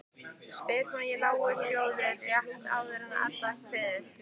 spyr hún í lágum hljóðum rétt áður en Edda kveður.